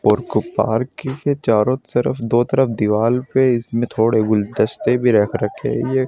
और एक पार्क के चारों तरफ दो तरफ़ दीवाल पे इसमें थोड़े गुलदस्ते भी रखें गई है।